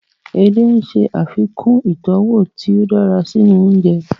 Edé ń ṣe àfikún ìtọ́wọ̀ tí ó dára sínú oúnjẹ